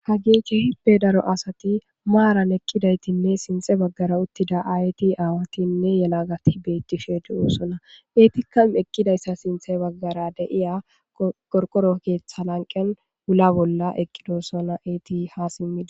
Hage kehippe daro asati naran utidaysanane,ha uttida ayetine awati hafati betishe dosona etika etappe sinta begara eqida qorqoro ketha wula bola ha simi eqidosona